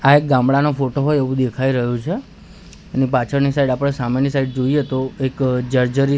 આ એક ગામડાનો ફોટો હોય એવુ દેખાય રહ્યુ છે એની પાછળની સાઇડ આપડે સામેની સાઇડ જોઇએ તો એક જર્જરી--